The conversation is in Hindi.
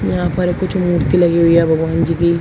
यहां पर कुछ मूर्ति लगी हुई है भगवान जी की--